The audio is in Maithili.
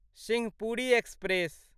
सिंहपुरी एक्सप्रेस